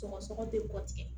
Sɔgɔsɔgɔ tɛ bɔ tigɛ